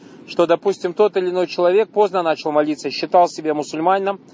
что допустим тот или иной человек поздно начал молиться считал себе мусульманином